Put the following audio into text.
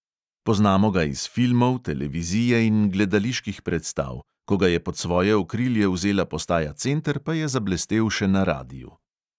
Poznamo ga iz filmov, televizije in gledaliških predstav, ko ga je pod svoje okrilje vzela postaja center, pa je zablestel še na radiu.